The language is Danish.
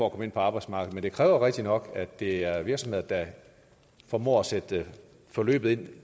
at komme ind på arbejdsmarkedet men det kræver rigtigt nok at det er virksomheder der formår at sætte forløbet ind